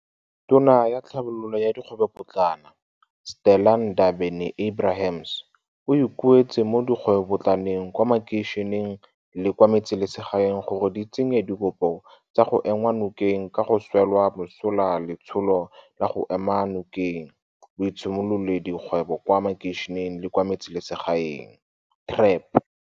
Tona ya Tlhabololo ya Dikgwebopotlana, Stella Ndabe ni-Abrahams, o ikuetse mo dikgwebopotlaneng kwa makeišeneng le kwa me tseselegaeng gore di tse nye dikopo tsa go enngwa nokeng ka go swela mosola Letsholo la go Ema Nokeng Boitshimololedi kgwebo kwa Makeišeneng le kwa Metseselegaeng, TREP.